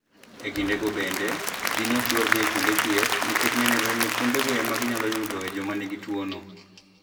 E kindego bende, ji ne ok dwar dhi kuonde thieth nikech ne nenore ni kuondego ema ne ginyalo yudoe joma nigi tuwono".